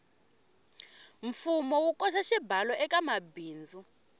mfumo wu koxa xibalo ekamabindzu